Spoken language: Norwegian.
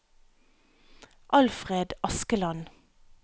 Alfred Askeland